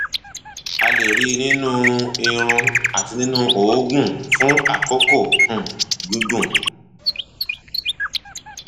a lè rí i i nínú irun àti nínú òógùn fún àkókò um gígùn